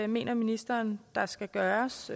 mener ministeren der skal gøres